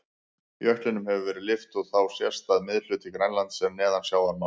Jöklinum hefur verið lyft og þá sést að miðhluti Grænlands er neðan sjávarmáls.